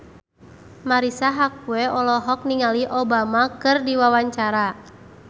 Marisa Haque olohok ningali Obama keur diwawancara